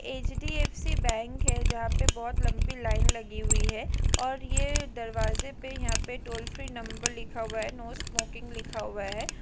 HDFC bank है जहाँ पे बहुत लंबी लाइन लगी हुई है और ये दरवाजे पे यहाँ पे टोल फ्री नम्र लिखा हुआ है नो स्मोकिंग लिखा हुआ है।